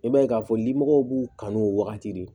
I b'a ye k'a fɔ limɔgɔw b'u kanu o wagati de